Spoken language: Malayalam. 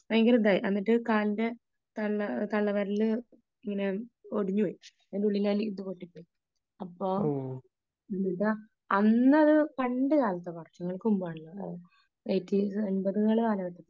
ഭയങ്കര ഇതായി എന്നിട്ട് കാലിന്റെ തള്ള തള്ള വിരല് ഇങ്ങനെ ഒടിഞ്ഞു പോയി . അതിന്റെ ഉള്ളിലാ ഇത് പൊട്ടിപ്പോയി അപ്പോ അന്ന് അത് പണ്ട് കാലത്ത് വാർഷങ്ങൾക്ക് മുമ്പാണല്ലോ എയിടീസ് എൺപത് കാലഘട്ടത്തിലാണ് .